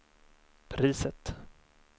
priset